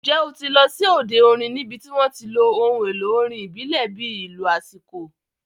Ǹjẹ́ o ti lọ sí òde orin níbi tí wọ́n ti lo ohun èlò orin ìbílẹ̀ bíi ìlù aṣíko?